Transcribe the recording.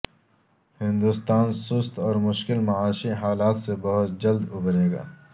ہندوستان سست اور مشکل معاشی حالات سے بہت جلد ابھرے گا